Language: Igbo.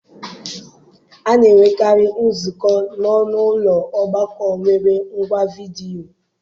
A na-enwekarị nzukọ n'ọnụ ụlọ ọgbakọ nwere ngwa vidiyo.